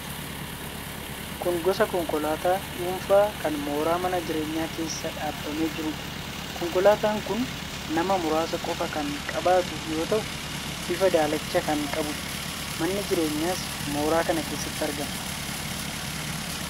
Kun gosa konkolaataa dhuunfaa kan mooraa mana jireenyaa keessa dhaabamee jiruudha. Konkolaataan kun nama muraasa qofa kan qabatu yoo ta'u, bifa daalacha kan qabuudha. Manni jireenyaas mooraa kana keessatti argama.